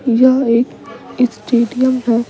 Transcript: यह एक स्टेडियम है।